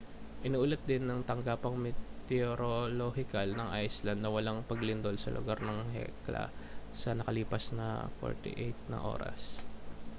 iniulat din ng tanggapang meteorolohikal ng iceland na walang paglindol sa lugar ng hekla sa nakalipas na 48 oras